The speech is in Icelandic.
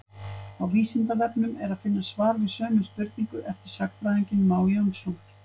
á vísindavefnum er að finna svar við sömu spurningu eftir sagnfræðinginn má jónsson